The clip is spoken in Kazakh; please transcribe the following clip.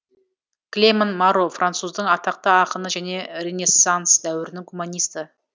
клеман маро француздың атақты ақыны және ренессанс дәуірінің гуманисті